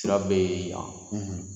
Sira be yan